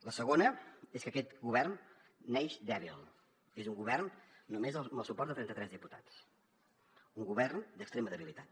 la segona és que aquest govern neix dèbil és un govern només amb el suport de trenta tres diputats un govern d’extrema debilitat